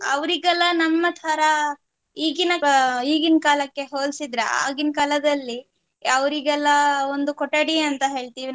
ಅವ್ರಿಗೆಲ್ಲಾ ನಮ್ಮತರ ಈಗಿನ ಕಾ~ ಈಗಿನ್ ಕಾಲಕ್ಕೆ ಹೊಲ್ಸಿದ್ರೆ ಆಗಿನ್ ಕಾಲದಲ್ಲಿ ಅವರಿಗೆಲ್ಲ ಒಂದು ಕೊಠಡಿ ಅಂತ ಹೇಳ್ತಿವಿ ನಾವು